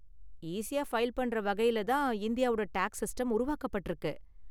ஈஸியா ஃபைல் பண்ற வகையில தான் இந்தியாவோட டேக்ஸ் சிஸ்டம் உருவாக்கப்பட்டிருக்கு.